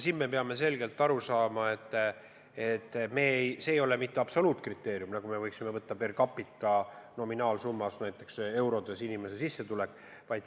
Me peame selgelt aru saama, et see ei ole mitte absoluutkriteerium, nagu me võiksime võtta per capita nominaalsummas, näiteks inimese sissetulek eurodes.